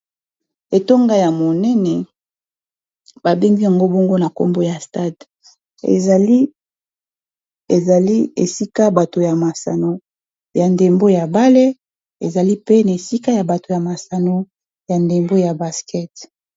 etonga ya monene babengi yango bongo na nkombo ya stade ezali esika bato ya masano ya ndembo ya bale ezali pene esika ya bato ya masano ya ndembo ya basket